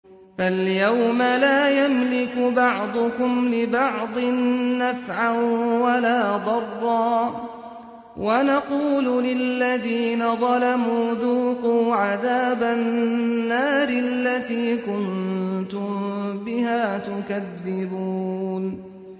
فَالْيَوْمَ لَا يَمْلِكُ بَعْضُكُمْ لِبَعْضٍ نَّفْعًا وَلَا ضَرًّا وَنَقُولُ لِلَّذِينَ ظَلَمُوا ذُوقُوا عَذَابَ النَّارِ الَّتِي كُنتُم بِهَا تُكَذِّبُونَ